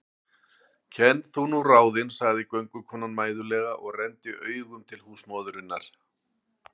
Kenn þú nú ráðin, sagði göngukonan mæðulega og renndi augum til húsmóðurinnar.